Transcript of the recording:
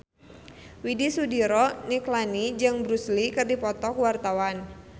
Widy Soediro Nichlany jeung Bruce Lee keur dipoto ku wartawan